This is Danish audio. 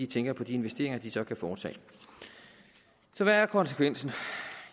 tænker på de investeringer de så kan foretage hvad er konsekvensen